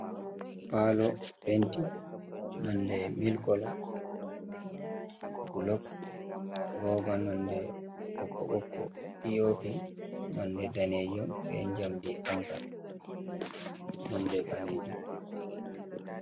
Pallo penti nonɗe mil kolo. Golob roɓa nonɗe bokko bokko. Piopi nonɗe ɗanejum, ɓe jamɗi fanka, nonɗe ɓalejum.